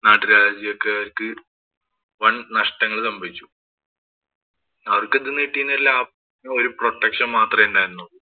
നാട്ടു രാജ്യക്കാര്‍ക്ക് വന്‍ നഷ്ടങ്ങള്‍ സംഭവിച്ചു അവര്‍ക്ക് ഇത്‌ന്നു കിട്ടിയിരുന്നെല്ലാം ഒരു protection മാത്രേ ഉണ്ടായിരുന്നുള്ളൂ.